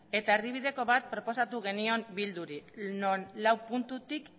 eta erdibideko bat proposatu genion bilduri non lau puntutik